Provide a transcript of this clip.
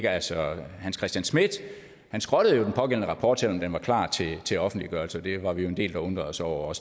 altså herre hans christian schmidt skrottede jo den pågældende rapport selv om den var klar til til offentliggørelse det var vi jo en del der undrede os over